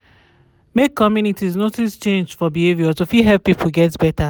make communities notice change for behavior to fit help people get better